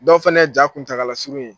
Dɔw fana ye ja kuntagala suru ye.